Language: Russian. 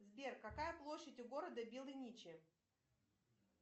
сбер какая площадь у города белыничи